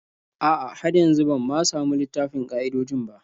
A'a, har yanzu ban ma samu littafin ƙa'idojin ba.